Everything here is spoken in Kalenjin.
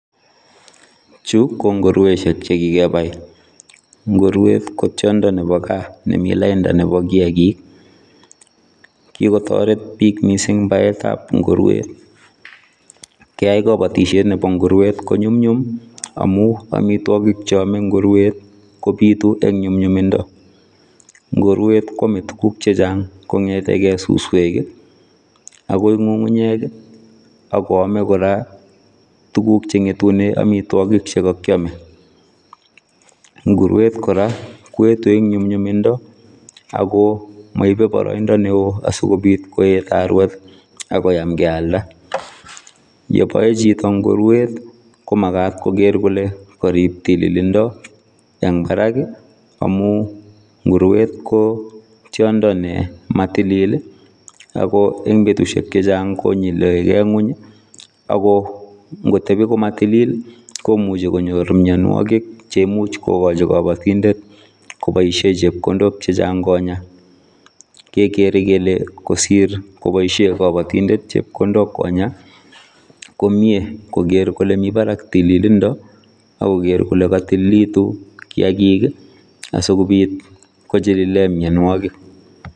Chu konguruesiek chekikebai nguruwet kotiondo nebo gaa nemi lainda nebo kiakik kikotoret bik mising baetab nguruwet keai kabotisiet nebo nguruwet konyumnyum amu amitwagik cheome nguruwet kobitu eng nyumnyumindo nguruwet koame tuguk chechang konyetekei suswek akoi ngungunyek akoame kora tuguk chengetune amitwagik chekakiame. Ngurweit kora koetu eng nyumnyumindo ako maibe boroindo neo asikobit koet arwet akoyam kealda. Yebae chito nguruwet komagat koker kole karib tililindo eng barak amu nguruwet ko tiondo ne matilil ako eng betusiek chechang konyule kei ngony akongotebi komo tilil komuchi konyor mianwokik cheimuchi cheimuch kokochi kapatindet koboisie chepkondok chechang konya. Kekere kele kosir koboisie kapatindet chepkondok konya komie koker kole mi barak tililindo akoker kole katililitu kiakik asikobiit kochilile mianwokik.